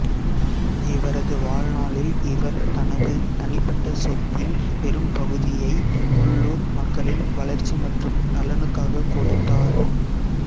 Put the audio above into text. இவரது வாழ்நாளில் இவர் தனது தனிப்பட்ட சொத்தின் பெரும்பகுதியை உள்ளூர் மக்களின் வளர்ச்சி மற்றும் நலனுக்காகக் கொடுத்தார்